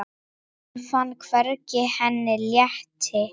Hún fann hvernig henni létti.